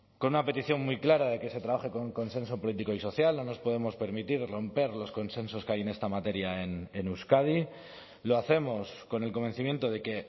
con una petición muy clara de que se trabaje con un consenso político y social no nos podemos permitir romper los consensos que hay en esta materia en euskadi lo hacemos con el convencimiento de que